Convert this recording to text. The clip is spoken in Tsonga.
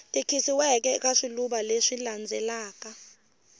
tikisiweke eka swivulwa leswi landzelaka